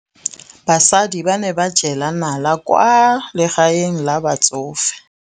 Basadi ba ne ba jela nala kwaa legaeng la batsofe.